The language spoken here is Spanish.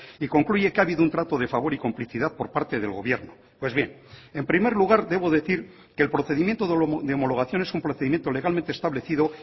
y concluye que ha habido un trato de favor y complicidad por parte del gobierno pues bien en primer lugar debo decir que el procedimiento de homologación es un procedimiento legalmente establecido